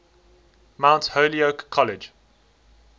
mount holyoke college